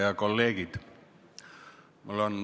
Head kolleegid!